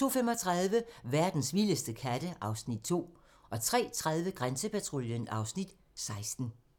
02:35: Verdens vildeste katte (Afs. 2) 03:30: Grænsepatruljen (Afs. 16)